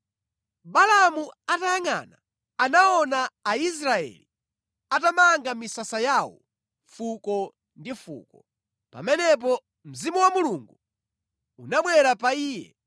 Balaamu atayangʼana, anaona Aisraeli atamanga misasa yawo fuko ndi fuko. Pamenepo mzimu wa Mulungu unabwera pa iye